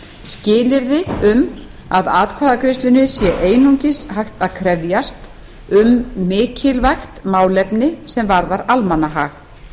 skilyrði um að atkvæðagreiðslunnar sé einungis hægt að krefjast um mikilvægt málefni sem varðar almannahag